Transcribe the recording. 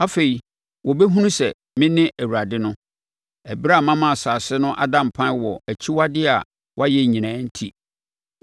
Afei wɔbɛhunu sɛ mene Awurade no, ɛberɛ a mama asase no ada mpan wɔ akyiwadeɛ a wɔayɛ nyinaa enti.’